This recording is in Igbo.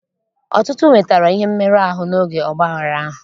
Ọtụtụ nwetara ihe mmerụ ahụ n'oge ọgbaghara ahụ.